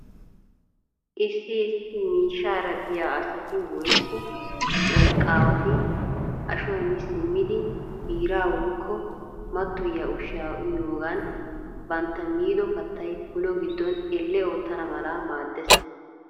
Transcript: Issi issi miishaara diyaa asati woykko wolqaawati ashuwaa mi simmidi biiraa woykko mattoyiyaa ushsha uyiyoogan bantta miido kattay ulo giddon elle ottana mala maades.